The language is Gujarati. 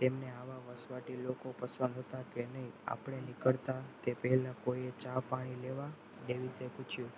તેમની આવા વસવાથી લોકો પસંદ હતા તેની આપણે નીકળતા તે પહેલા કોઈ જાણ પાડી લેવા તે રીતે પૂછ્યું